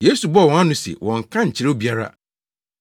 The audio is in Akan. Yesu bɔɔ wɔn ano sɛ wɔnnka nkyerɛ obiara.